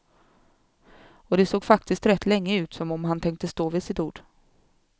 Och det såg faktiskt rätt länge ut som om han tänkte stå vid sitt ord.